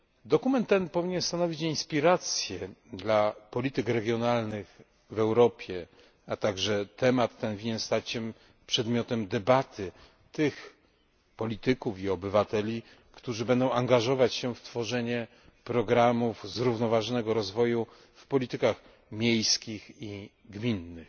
Dokument ten winien stanowić inspirację dla polityk regionalnych w Europie, a także temat ten powinien stać się przedmiotem debaty tych polityków i obywateli, którzy będą angażować się w tworzenie programów zrównoważonego rozwoju w politykach miejskich i gminnych.